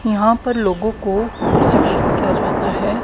यहां पर लोगो को प्रशिक्षित किया जाता है।